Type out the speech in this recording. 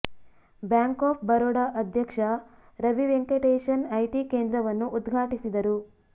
bank of Baroda ಅಧ್ಯಕ್ಷ Ravi Venkatesan IT ಕೇಂದ್ರವನ್ನು ಉದ್ಘಾಟಿಸಿದರು